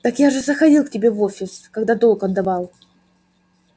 так я же заходил к тебе в офис когда долг отдавал